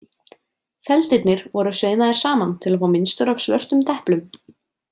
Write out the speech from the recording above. Feldirnir voru saumaðir saman til að fá mynstur af svörtum deplum.